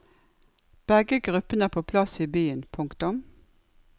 Begge gruppene er på plass i byen. punktum